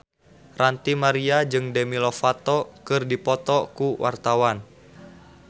Ranty Maria jeung Demi Lovato keur dipoto ku wartawan